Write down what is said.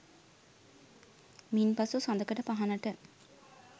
මින්පසු සඳකඩ පහණට